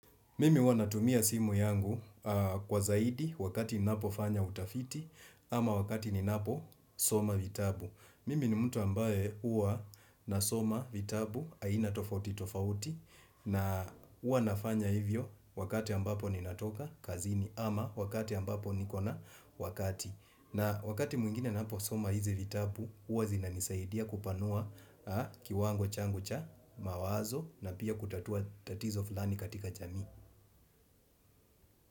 Mimi huwa natumia simu yangu kwa zaidi wakati ninapofanya utafiti ama wakati ninapo soma vitabu. Mimi ni mtu ambaye huwa nasoma vitabu aina tofauti tofauti na huwa nafanya hivyo wakati ambapo ninatoka kazini ama wakati ambapo nikona wakati. Na wakati mwingine ninapo soma hizi vitabu huwa zinanisaidia kupanua kiwango changu cha mawazo na pia kutatua tatizo fulani katika jamii.